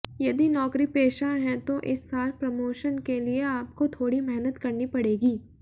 यदि नौकरी पेशा हैं तो इस साल प्रमोशन के लिये आपको थोड़ी मेहनत करनी पड़ेगी